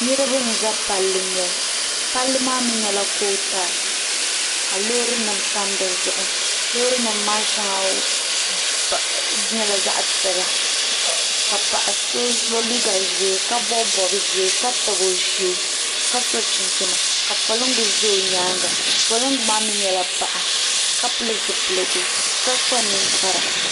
niriba za palli noli palli mi nyɛla kootaali ka loori nima tam di zuɣu loori nima shɛŋa nyɛla zaɣ' piɛla ka paɣ' so ye liiga ʒee ka bɔbi bɔb' ʒee ka tabi o shee ka sɔ chinchini ka polinga za o nyaaga polinga maa mi nyɛla paɣa ka pili zupiligu ka kpa ninkpara